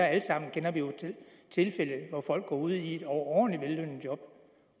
alle sammen til tilfælde hvor folk går ud i et overordentlig vellønnet job